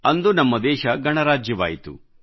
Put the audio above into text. ಅಂದು ನಮ್ಮ ದೇಶ ಗಣರಾಜ್ಯವಾಯಿತು